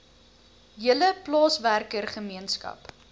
hele plaaswerker gemeenskap